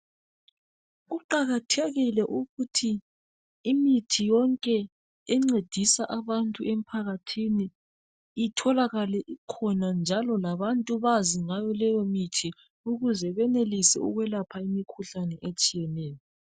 Kuqakathekile ukuthi imithi yonke encedisa abantu emphakathini itholakale ikhona, njalo labantu bazi ngayo leyo mithi ukuze benelise ukwelapha imikhuhlane etshiyeneyo.